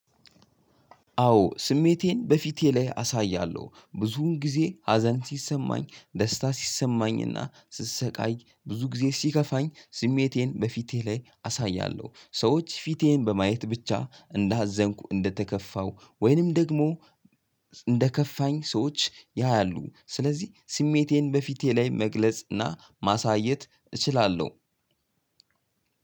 አዎ ስሜቴን በፊቴ ላይ አሳያለሁ ብዙውን ጊዜ ሀዘን ሲሰማኝ ደስታ ሲሰማኝና ስሰቃይ ብዙ ጊዜ ሲከፋኝ ስሜቴን በፊቴ ላይ አሳያለሁ። ሰዎች ፊቴን በማየት ብቻ እንዳዘንኩ እንደተከፋሁ ወይንም ደግሞ እንደከፋኝ ሰዎች ያያሉ። ስለዚህ ስሜቴን በፊቴ ላይ መግለጽ እና ማሳየት እችላለሁ።